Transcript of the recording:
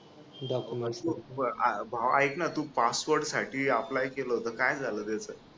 documents अं भावा ऐक ना तू passport साठी apply केलं होत काय झालं त्याच?